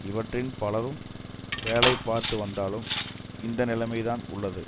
இவற்றில் பலரும் வேலை பார்த்துவந்தாலும் இந்நிலைமை தான் உள்ளது